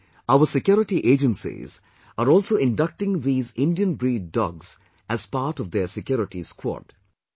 Now, our security agencies are also inducting these Indian breed dogs as part of their security squad